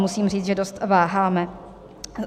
Musím říct, že dost váháme.